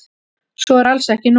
Svo er alls ekki nú.